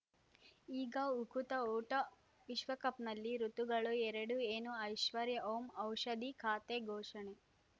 ಈಗ ಉಕುತ ಊಟ ವಿಶ್ವಕಪ್‌ನಲ್ಲಿ ಋತುಗಳು ಎರಡು ಏನು ಐಶ್ವರ್ಯಾ ಓಂ ಔಷಧಿ ಖಾತೆ ಘೋಷಣೆ